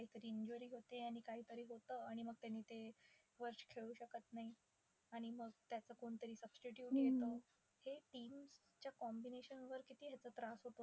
काहीतरी injury होते आणि काहीतरी होतं आणि मग त्यानी ते वर्ष खेळू शकत नाही आणि मग त्यांचं कोणीतरी substitute येतं. ते team त्या combination वर किती ह्याचा त्रास होत